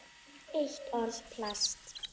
Eitt orð: Plast